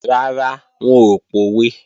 Rárá, wọn ò pòwe